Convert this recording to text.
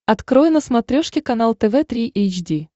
открой на смотрешке канал тв три эйч ди